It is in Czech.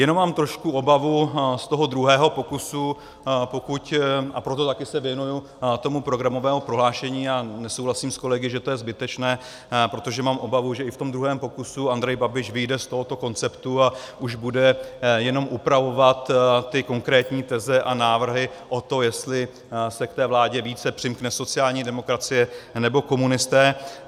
Jenom mám trošku obavu z toho druhého pokusu, a proto taky se věnuji tomu programovému prohlášení a nesouhlasím s kolegy, že to je zbytečné, protože mám obavu, že i v tom druhém pokusu Andrej Babiš vyjde z tohoto konceptu a už bude jenom upravovat ty konkrétní teze a návrhy o to, jestli se k té vládě více přimkne sociální demokracie anebo komunisté.